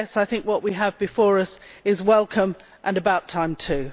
Nevertheless I think what we have before us is welcome, and about time too.